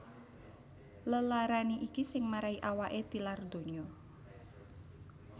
Lelarané iki sing marahi awaké tilar donya